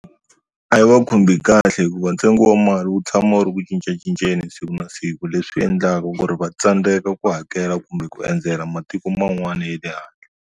A yi va khomi kahle hikuva ntsengo wa mali wu tshama wu ri ku cincacincana siku na siku leswi endlaku ku ri va tsandzeka ku hakela kumbe ku endzela matiko man'wana ya le handle.